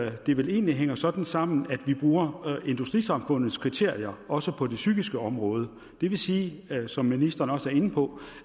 at det vel egentlig hænger sådan sammen at vi bruger industrisamfundets kriterier også på det psykiske område og det vil sige som ministeren også er inde på